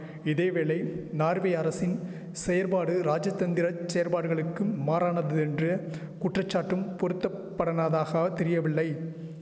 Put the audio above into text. இதேவேளை நார்வே அரசின் செயற்பாடு ராஜதந்தர செயற்பாடுகளுக்கும் மாறானதென்றே குற்றச்சாட்டும் பொருத்தப்படனதாக தெரியவில்லை